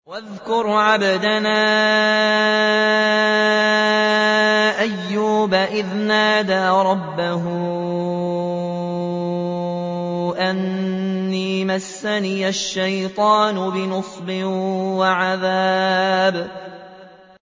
وَاذْكُرْ عَبْدَنَا أَيُّوبَ إِذْ نَادَىٰ رَبَّهُ أَنِّي مَسَّنِيَ الشَّيْطَانُ بِنُصْبٍ وَعَذَابٍ